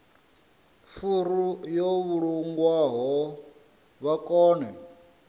furu yo vhulungwaho vha kone